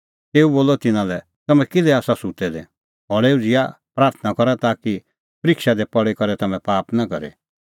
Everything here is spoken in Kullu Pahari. खल़ै उझ़िआ प्राथणां करा ताकि परिक्षा दी पल़ी करै तम्हैं पाप नां करे